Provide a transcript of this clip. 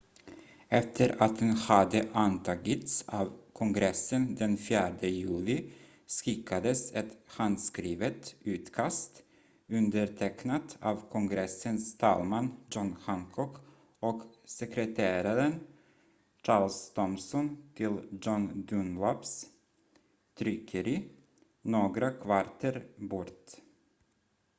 efter att den hade antagits av kongressen den 4 juli skickades ett handskrivet utkast undertecknat av kongressens talman john hancock och sekreteraren charles thomson till john dunlaps tryckeri några kvarter bort